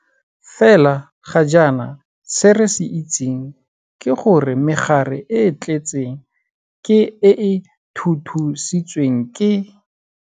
Fela ga jaana se re se itseng ke gore megare e e tletseng ke e e thuthusitsweng ke.